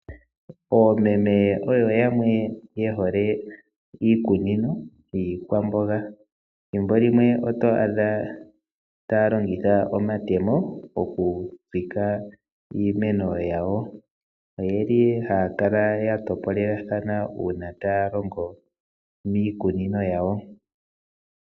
Oomeme oyo yamwe yehole iikunino yiikwamboga thimbo limwe oto adha taya longitha omatemo oku tsika iimeno yawo, oyeli haya kala ya topolelathana uuna taya longo miikunino yawo.